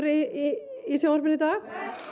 í sjónvarpinu í dag